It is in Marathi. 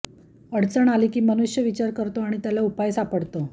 अडचण आली की मनुष्य विचार करतो आणि त्याला उपाय सापडतो